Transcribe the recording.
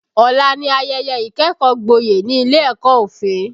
Ọ̀la ni ayẹyẹ ìkẹ́kọ̀ọ́ gboyè ní ilé ẹ̀kọ́ òfin